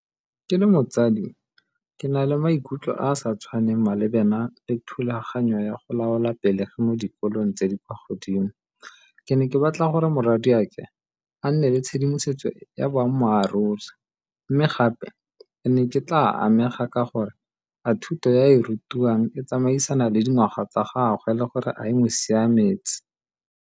Ke le motsadi ke na le maikutlo a a sa tshwaneng malebana le thulaganyo ya go laola pelegi mo dikolong tse di kwa godimo. Ke ne ke batla gore morwadiake a nne le tshedimosetso ya boammaaruri mme gape ne ke tla amega ka gore a thuto ya e rutiwang e tsamaisana le dingwaga tsa gagwe le gore a e mo siametse.